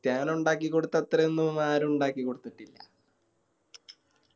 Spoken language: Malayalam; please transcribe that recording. സ്റ്റ്യാനോ ഇണ്ടാക്കി കൊടുത്ത അത്രയൊന്നും ആരും ഇണ്ടാക്കി കൊടുത്തിട്ടില്ല